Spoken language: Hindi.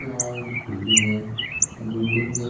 यहाँ एक बिल्डिंग है बिल्डिंग के --